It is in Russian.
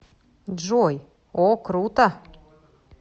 джой о круто